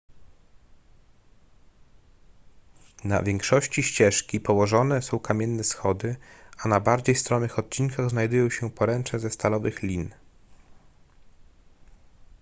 na większości ścieżki położone są kamienne schody a na bardziej stromych odcinkach znajdują się poręcze ze stalowych lin